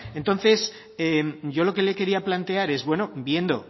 entonces yo lo que le quería plantear es bueno viendo